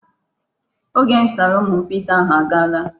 Oge m zụtara ụmụ m Piza ahụ agaala.